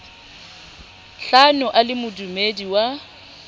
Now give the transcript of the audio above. hlano a le modudi wa